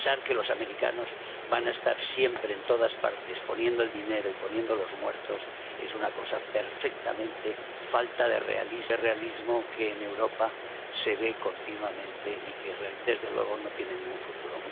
Y pensar que los americanos van a estar siempre en todas partes, poniendo el dinero y poniendo los muertos, es una cosa perfectamente falta de realismo, que en Europa se ve continuamente y que desde luego no tiene ningún futuro.